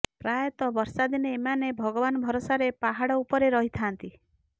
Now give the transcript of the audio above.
ପ୍ରାୟତଃ ବର୍ଷାଦିନେ ଏମାନେ ଭଗବାନ ଭରସାରେ ପାହାଡ ଉପରେ ରହିଥାନ୍ତି